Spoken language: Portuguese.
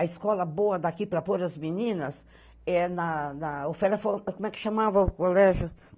A escola boa daqui para pôr as meninas é na... na, o Félia foi... como é que chamava o colégio?